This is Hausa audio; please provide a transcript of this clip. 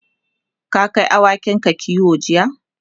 ka Kai awakin kiwo jiya?